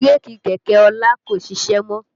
Bírèkì kẹ̀kẹ́ ọlá kò ṣiṣẹ́ mọ́